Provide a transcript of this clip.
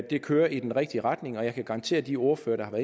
det kører i den rigtige retning og jeg kan garantere de ordførere